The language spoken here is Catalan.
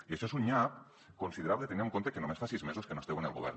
i això és un nyap considerable tenint en compte que només fa sis mesos que no esteu en el govern